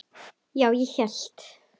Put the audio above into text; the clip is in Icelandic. Já, ég hélt.